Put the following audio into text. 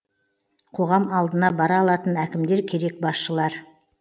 қоғам алдына бара алатын әкімдер керек басшылар